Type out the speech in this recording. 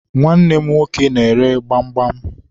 Nwanne m nwoke na-ere gbamgbam